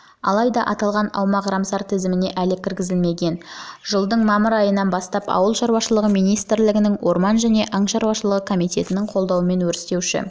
алайда аталған аумақ рамсар тізіміне әлі кіргізілмеген жылдың мамыр айынан бастап ауыл шаруашылығы министрлігінің орман және аң шаруашылығы комитетінің қолдауымен өрістеуші